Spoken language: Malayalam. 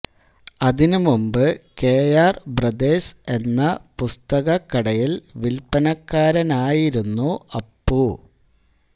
അതിനുമുമ്പ് കെ ആർ ബ്രദേഴ്സ് എന്ന പുസ്തകക്കടയിൽ വിൽപനക്കാരനായിരുന്നു അപ്പു